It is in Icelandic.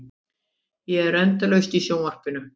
Ég er endalaust í sjónvarpinu.